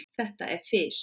Þetta er fis.